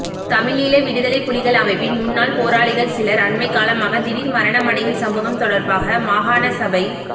தமிழீழ விடுதலை புலிகள் அமைப்பின் முன்னாள் போராளிகள் சிலர் அண்மைக்காலமாக திடீர் மரணமடையும் சம்பவம் தொடர்பாக மாகாணசபை